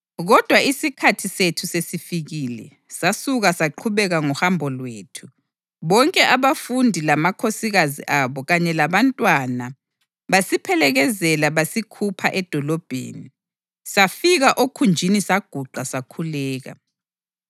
Kodwa isikhathi sethu sesifikile, sasuka saqhubeka ngohambo lwethu. Bonke abafundi lamakhosikazi abo kanye labantwana basiphelekezela basikhupha edolobheni, safika okhunjini saguqa sakhuleka.